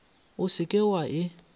o se ke wa e